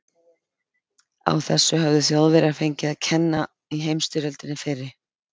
Á þessu höfðu Þjóðverjar fengið að kenna í heimsstyrjöldinni fyrri.